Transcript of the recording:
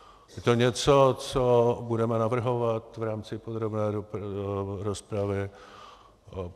Je to něco, co budeme navrhovat v rámci podrobné rozpravy.